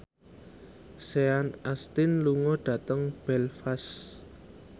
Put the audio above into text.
Sean Astin lunga dhateng Belfast